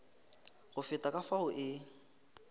go feta ka fao e